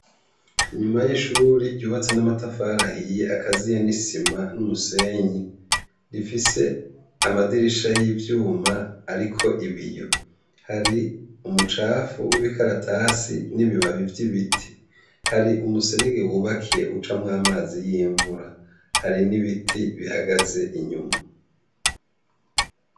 Inyuma y'ishuri ry'ubatse n'amatafari ahiye akaziye n'isima n'umusenyi, rifise amadirisha y'ivyuma ariko ibiyo. Hari umucafu w'ibikaratasi n'ibibabi vy'ibiti. Hari umuserege wubakiye ucamwo amazi y'imvura, hari n'ibiti bihagaze inyuma.